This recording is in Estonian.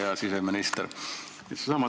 Hea siseminister!